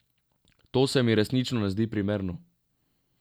To se mi resnično ne zdi primerno.